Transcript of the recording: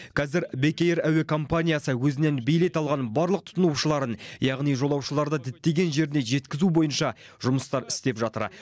қазір бек эйр әуе компаниясы өзінен билет алған барлық тұтынушыларын яғни жолаушыларды діттеген жеріне жеткізу бойынша жұмыстар істеп жатыр